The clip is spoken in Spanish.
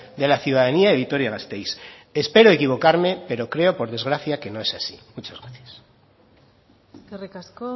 de la ciudadanía de vitoria gasteiz espero equivocarme pero creo por desgracia que no es así muchas gracias eskerrik asko